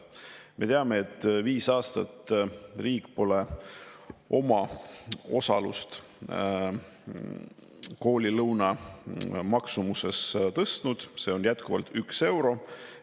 Me teame, et viis aastat pole riik oma osalust koolilõuna tõstnud, see on jätkuvalt 1 euro.